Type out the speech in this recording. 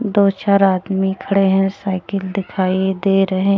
दो चार आदमी खड़े है साइकिल दिखाई दे रहे--